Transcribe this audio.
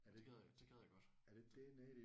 Det gad jeg det gad jeg godt